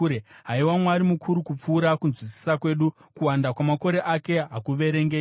Haiwa, Mwari mukuru kupfuura kunzwisisa kwedu! Kuwanda kwamakore ake hakuverengeki.